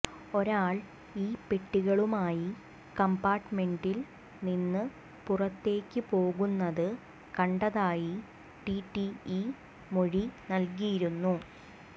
ഒരാൾ ഈ പെട്ടികളുമായി കംപാർട്ട്മെന്റിൽ നിന്ന് പുറത്തേക്ക് പോകുന്നത് കണ്ടതായി ടിടിഇ മൊഴി നൽകിയിരുന്നു